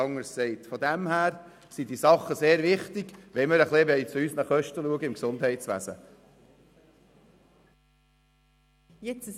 Daher sind all diese Dinge sehr wichtig, wenn wir uns um die Kosten des Gesundheitswesens kümmern wollen.